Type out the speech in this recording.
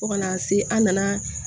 Fo kana se an nana